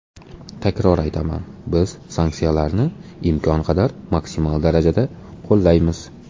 Takror aytaman, biz sanksiyalarni imkon qadar maksimal darajada qo‘llaymiz.